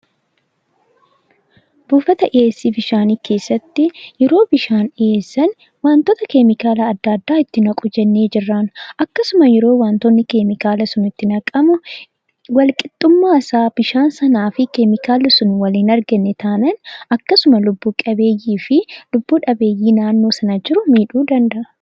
Buufata dhiyeessi bishaanii keessatti yeroo bishaan dhiyeessan waantoota keemikaala adda addaa itti naqu jennee jirraan. Akkasuma yeroo wantoonni keemikaala sun itti naqamu wal qixxummaa isaa bishaan sanaa fi keemikaalli sun wal hin arganne taanaan akkasuma lubbu qabeeyyii fi lubbu dhabeeyyii naannoo sana jiru miidhuu danda'a.